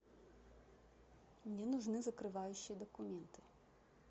мне нужны закрывающие документы